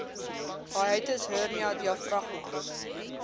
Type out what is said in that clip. hiatus hernia diafragma